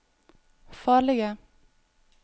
farlige